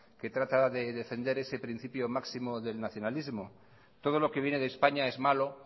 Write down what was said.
que trata de defender ese principio máximo del nacionalismo todo lo que viene de españa es malo